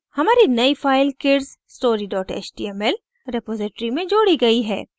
हमारी नई file kidsstory html repository में जोड़ी गई है